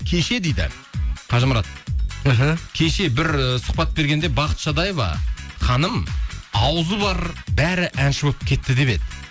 кеше дейді қажымұрат іхі кеше бір ііі сұхбат бергенде бақыт шадаева ханым ауызы бар бәрі әнші болып кетті деп еді